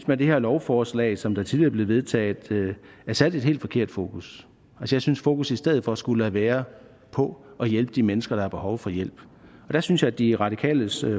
med det lovforslag som tidligere blev vedtaget er sat et helt forkert fokus jeg synes at fokus i stedet for skulle være på at hjælpe de mennesker der har behov for hjælp der synes jeg at de radikales